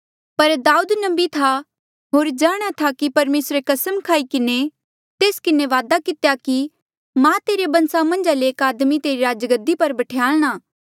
पर दाउद नबी था होर जाणहां था कि परमेसरे कसम खाई किन्हें तेस किन्हें वादा कितेया कि मां तेरे बंसा मन्झा ले एक आदमी तेरी राजगद्दी पर बठयाल्णा